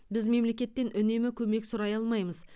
біз мемлекеттен үнемі көмек сұрай алмаймыз